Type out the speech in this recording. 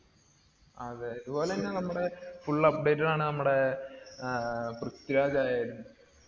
അതെ. ഇതുപോലെന്നെ നമ്മടെ full updated ആണ് നമ്മടെ ങ്ഹാ പ്രിത്വിരാജായാലും.